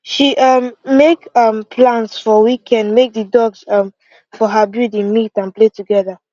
she um make um plans for weekend make the dogs um for her building meet and play together